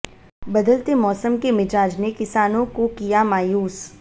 बदलते मौसम के मिजाज ने किसानों को किया मायूस